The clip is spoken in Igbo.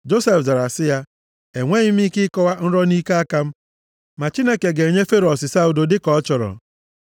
Josef zara sị ya, “Enweghị m ike ịkọwa nrọ nʼike aka m. Ma Chineke ga-enye Fero ọsịsa udo dịka ọ chọrọ.”